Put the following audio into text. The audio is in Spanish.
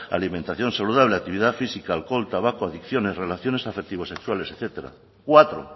alimentación saludable actividad física alcohol tabaco adicciones relaciones afectivo sexuales etcétera cuatro